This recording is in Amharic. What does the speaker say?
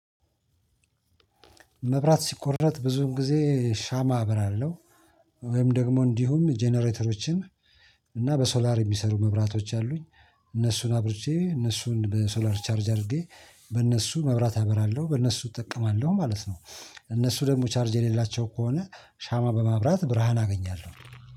መብራት ሲቋረጥ ብዙን ጊዜ ሻማ አብራለሁ። ወይም ደግሞ እንዲሁም ጀነሬተሮችን እና በሶላር የሚሰሩ መብራቶች አሉኝ። እነሱን አብርቼ እነሱን በሶላር ቻርጅ አድርጌ በእነሱ መብራት አበራለሁ በእነሱ እጠቀማለሁ ማለት ነው። እነሱ ደግሞ ቻርጅ የሌላቸው ከሆነ ሻማ በማብራት ብርሃን አገኛለሁ።